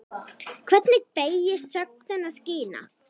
Hvernig beygist sögnin að skína?